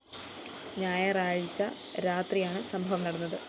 ഞായറാഴ്ച രാത്രിയാണ് സംഭവം നടന്നത്